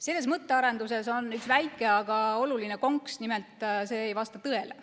" Selles mõttearenduses on üks väike, aga oluline konks: nimelt, see ei vasta tõele.